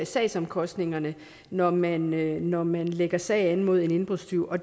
sagsomkostningerne når man når man lægger sag an mod en indbrudstyv og